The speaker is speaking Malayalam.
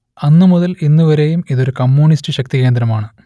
അന്നു മുതൽ ഇന്നു വരെയും ഇതൊരു കമ്മ്യൂണിസ്റ്റ് ശക്തി കേന്ദ്രമാണ്